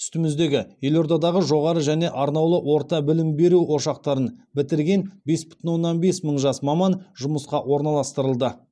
үстіміздегі елордадағы жоғарғы және арнаулы орта білім беру ошақтарын бітірген бес бүтін оннан бес мың жас маман жұмысқа орналастырылды